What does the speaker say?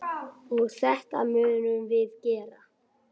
Og þetta munum við gera.